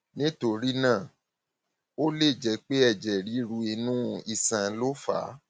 nítorí náà ó lè jẹ pé ẹjẹ ríru inú iṣan ló fà á